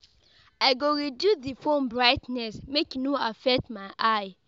I go reduce di phone brightness make e no affect my eye.